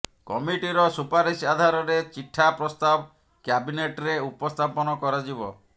କମିଟିର ସୁପାରିସ ଆଧାରରେ ଚିଠା ପ୍ରସ୍ତାବ କ୍ୟାବିନେଟ୍ରେ ଉପସ୍ଥାପନ କରାଯିବ